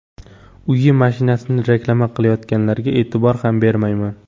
Uyi, mashinasini reklama qilayotganlarga e’tibor ham bermayman.